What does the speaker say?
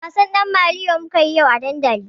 Wasan ɗan maliyo mukayi yau a dandali.